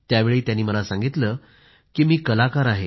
त्यावेळी त्यानं मला सांगितलं की मी कलाकार आहे